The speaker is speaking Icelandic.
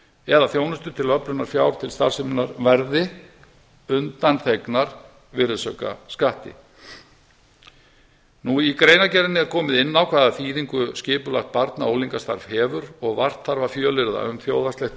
eða þjónustu til öflunar fjár til starfseminnar verði undanþegnar virðisaukaskatti í greinargerðinni er komið inn á hvaða þýðingu skipulegt barna og unglingastarfs hefur og vart þarf að fjölyrða um þjóðhagslegt